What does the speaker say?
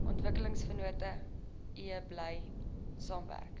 ontwikkelingsvennote bly saamwerk